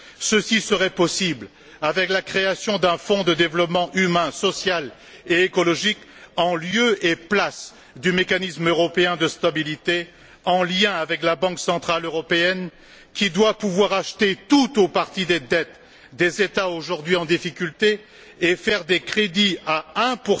Ceci serait possible avec la création d'un fonds de développement humain, social et écologique, en lieu et place du mécanisme européen de stabilité, en lien avec la Banque centrale européenne qui doit pouvoir acheter tout ou partie des dettes des États aujourd'hui en difficulté et consentir des crédits à 1